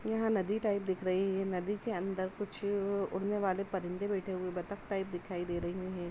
यहाँं नदी टाइप दिख रही है। नदी के अन्दर कुछ उड़ने वाले परिंदे बैठे हुए बतक टाइप दिखाई दे रही हैं।